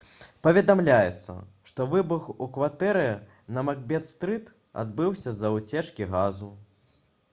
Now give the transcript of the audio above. паведамляецца што выбух у кватэры на макбет стрыт адбыўся з-за ўцечкі газу